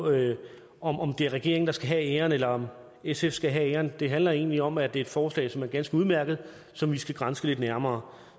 om om det er regeringen der skal have æren eller om sf skal have æren det handler egentlig om at det er et forslag som er ganske udmærket som vi skal granske lidt nærmere